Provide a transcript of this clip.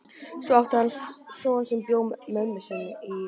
Svo átti hann son sem bjó með mömmu sinni í